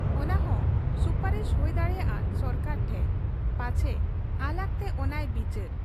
ᱚᱱᱟᱦᱚᱸ ᱥᱩᱯᱟᱨᱤᱥ ᱦᱩᱭ ᱫᱟᱲᱮᱭᱟᱜ ᱟ ᱥᱚᱨᱠᱟᱨ ᱴᱷᱮᱫ ᱾ ᱯᱟᱪᱦᱮ ᱟᱞᱟᱜᱽᱛᱮ ᱚᱱᱟᱭ ᱵᱤᱪᱟᱹᱨ ᱾